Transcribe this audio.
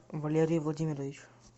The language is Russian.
валерий владимирович